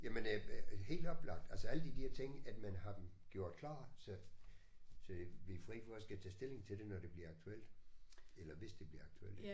Jamen øh helt oplagt altså alle de der ting at man har dem gjort klar så så vi er fri for at skal tage stilling til det når det bliver aktuelt eller hvis det bliver aktuelt